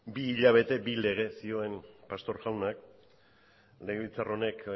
bi hilabete bi lege zioen pastor jaunak legebiltzar honek